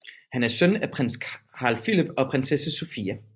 Han er søn af prins Carl Philip og prinsesse Sofia